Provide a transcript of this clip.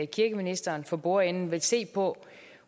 kirkeministeren for bordenden vil se på